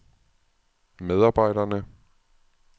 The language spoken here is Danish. medarbejderne